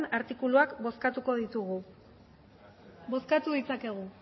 artikuluak bozkatuko ditugu bozkatu ditzakegu